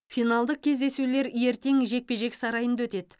финалдық кездесулер ертең жекпе жек сарайында өтеді